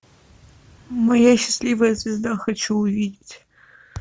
моя счастливая звезда хочу увидеть